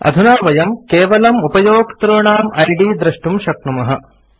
अधुना वयं केवलम् उपयोक्तॄणाम् इद् द्रष्टुं शक्नुमः